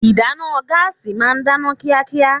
Ìdáná gáàsì ma ń dáná kíákíá.